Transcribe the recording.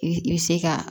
I bɛ se ka